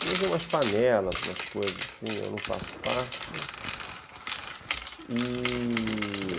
Eleger umas panelas, umas coisas assim, eu não faço parte e